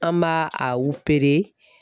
An m'a a